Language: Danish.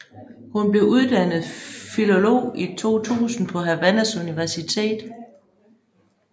Hun blev uddannet filolog i 2000 på Havannas Universitet